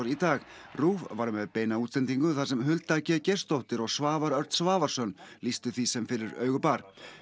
í dag RÚV var með beina útsendingu þar sem Hulda g Geirsdóttir og Svavar Örn Svavarsson lýstu því sem fyrir augu bar